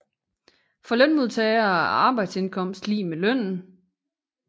For lønmodtagere er arbejdsindkomst lig med lønnen